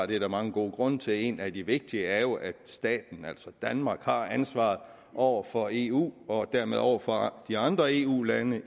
det er der mange gode grunde til en af de vigtige er jo at staten altså danmark har ansvaret over for eu og dermed over for de andre eu lande